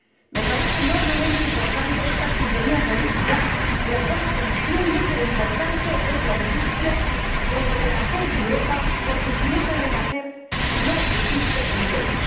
Me parece enormemente importante esta sintonía política, en la cual se entiende que lo importante es la industria del renacer de Europa, porque sin ese renacer no existe empleo.